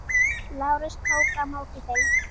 Lárus tók á móti þeim.